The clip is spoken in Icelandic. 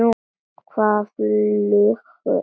Hvað flugu þeir langt?